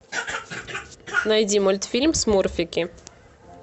найди мультфильм смурфики